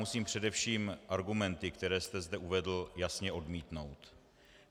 Musím především argumenty, které jste zde uvedl, jasně odmítnout.